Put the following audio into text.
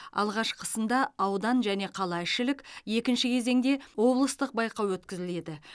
алғашқысында аудан және қалаішілік екінші кезеңде облыстық байқау өткізіледі